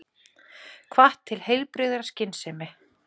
Hvatt til heilbrigðrar skynsemi